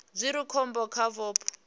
zwi re khombo kha vhupo